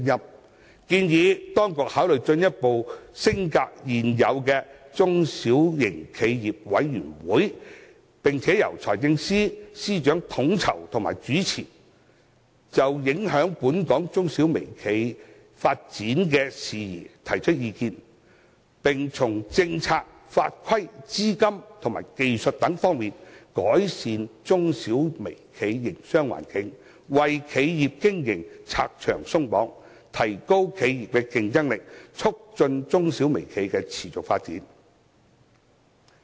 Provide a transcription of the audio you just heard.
我建議當局考慮進一步將現有的中小型企業委員會升格，由財政司司長統籌和主持，並就影響本港中小微企發展事宜提出意見，從政策、法規、資金及技術等方面，改善它們的營商環境，為企業經營拆牆鬆綁，提高企業競爭力，促進中小微企的持續發展。